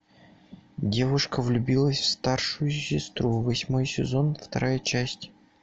девушка влюбилась в старшую сестру восьмой сезон вторая часть